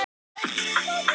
Það kemur bara í ljós.